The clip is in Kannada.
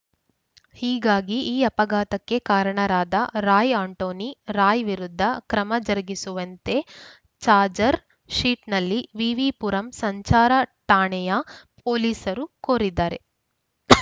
ಹೀಗಾಗಿ ಈ ಅಪಘಾತಕ್ಕೆ ಕಾರಣರಾದ ರಾಯ್‌ ಆಂಟೋನಿ ರಾಯ್‌ ವಿರುದ್ಧ ಕ್ರಮ ಜರುಗಿಸುವಂತೆ ಚಾಜೆರ್ ಶೀಟಿನಲ್ಲಿ ವಿವಿ ಪುರಂ ಸಂಚಾರ ಠಾಣೆಯ ಪೊಲೀಸರು ಕೋರಿದ್ದಾರೆ ಅಂ